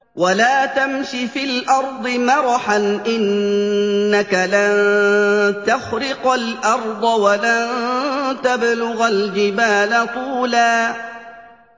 وَلَا تَمْشِ فِي الْأَرْضِ مَرَحًا ۖ إِنَّكَ لَن تَخْرِقَ الْأَرْضَ وَلَن تَبْلُغَ الْجِبَالَ طُولًا